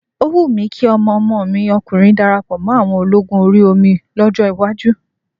Ó wù mí kí ọmọ ọmọ mi ọkùnrin darapọ̀ mọ́ àwọn ológun orí omi lọ́jọ́ iwájú.